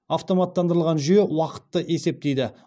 автоматтандырылған жүйе уақытты есептейді